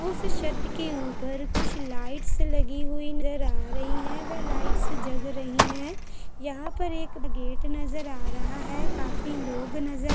उस छत के ऊपर कुछ लाइट्स लगी हुई नजर आ रही हैं वे लाइट्स जग रही हैं यहाँ पर एक गेट नजर आ रहा है काफी लोग नजर--